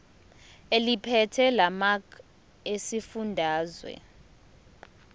eliphethe lamarcl esifundazwe